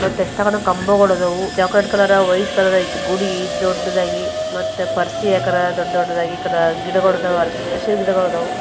ಮತ್ತೆ ಎಷ್ಟೊಂದು ಕಂಬಗಳು ವಿಧವು ಚಾಕ್ಲೆಟ್ ಕಲರ್ ವೈಟ್ ಕಲರ್ ಗುಡಿ ದೊಡ್ಡದಾಗಿ ಮತ್ತಿ ಪರ್ಸಿ ಹಕಾರ ಗುಡಿ ದೊಡ್ಡ್ ದೊಡ್ಡದಾಗಿ ಈ ಕಡಿ ಗಿಡಗಳ್ ಅದಾವು ಹಸಿರ್ ಗಿಡಗಳಿದವು.